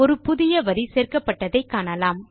ஒரு புதிய வரி சேர்க்கப்பட்டதை காணலாம்